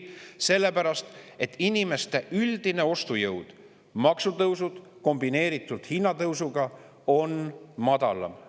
Inimeste üldine ostujõud – maksutõusud kombineeritult hinnatõusuga – on madalam.